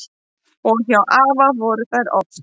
Og hjá afa voru þær oft.